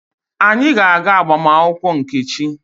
Anyị ga-aga agbamakwụkwọ Nkechi.